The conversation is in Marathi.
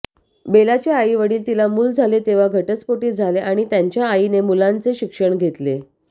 बेलाचे आईवडील तिला मूल झाले तेव्हा घटस्फोटीत झाले आणि त्यांच्या आईने मुलांचे शिक्षण घेतले